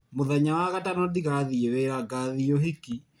Mũthenya wa gatano ndigathiĩ wĩra ngathiĩ ũhiki.